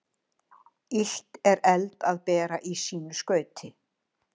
Illt er eld að bera í sínu skauti.